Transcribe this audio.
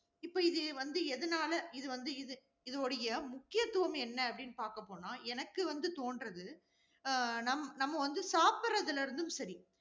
இப்ப இது வந்து எதனால, இது வந்து, இது, இது உடைய முக்கியத்துவம் என்ன அப்படின்னு பார்க்க போனா, எனக்கு வந்து தோன்றது, அஹ் நம், நம்ம வந்து சாப்பிடுறதுல இருந்தும் சரி